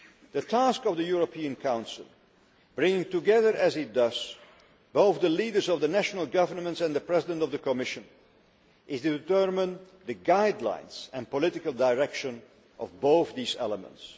The task of the European Council bringing together as it does both the leaders of the national governments and the President of the Commission is to determine the guidelines and political direction of both these elements.